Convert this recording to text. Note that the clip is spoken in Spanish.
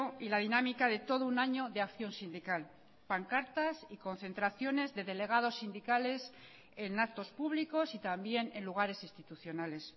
y la dinámica de todo un año de acción sindical pancartas y concentraciones de delegados sindicales en actos públicos y también en lugares institucionales